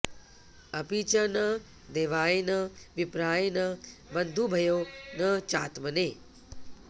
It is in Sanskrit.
अपि च न देवाय न विप्राय न बन्धुभ्यो न चात्मने